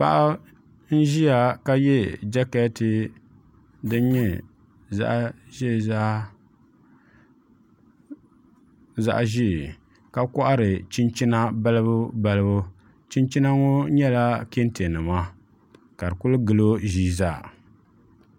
Paɣa n ʒiya ka yɛ jɛkɛti din nyɛ zaɣ ʒiɛ ka kohari chinchina balibu balibu chinchina ŋo nyɛla kɛntɛ nima ka di ku gilo ʒii zaa